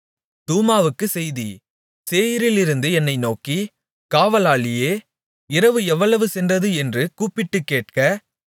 தூமாவுக்கு செய்தி சேயீரிலிருந்து என்னை நோக்கி காவலாளியே இரவு எவ்வளவு சென்றது என்று கூப்பிட்டுக்கேட்க